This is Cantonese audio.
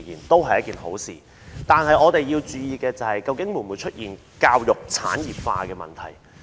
但是，我們要注意會否出現教育產業化的問題。